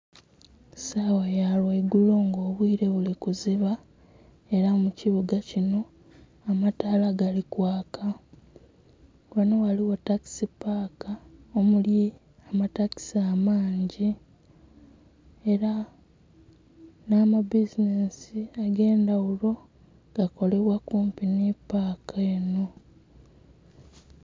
Sawa ya lwe igulo nga obwire buli kuziba era mu kibuga kinho amataala gali kwaaka. Ghanho ghaligho takisi paka omuli amatakisi amangi era nha mabizinhesi age ndhaghulo gakolebwa kumpi nhi paka enho.